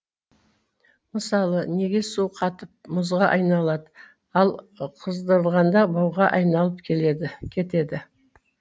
мысалы неге су қатып мұзға айналады ал қыздырғанда буға айналып кетеді